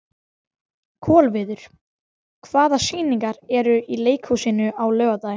Kolviður, hvaða sýningar eru í leikhúsinu á laugardaginn?